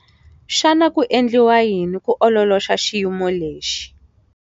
Xana ku endliwa yini ku ololoxa xiyimo lexi?